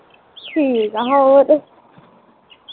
ਠੀਕ ਆ ਹੋਰ